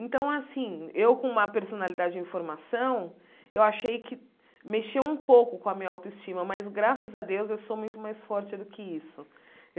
Então, assim, eu, com uma personalidade em formação, eu achei que mexeu um pouco com a minha autoestima, mas, graças a Deus, eu sou muito mais forte do que isso.